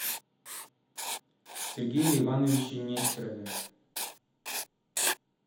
сергее ивановиче нестерове